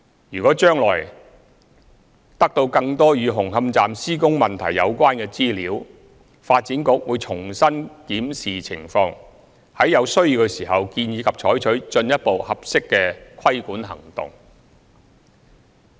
若將來得到更多與紅磡站施工問題有關的資料，發展局會重新檢視情況，在有需要時建議及採取進一步合適的規管行動。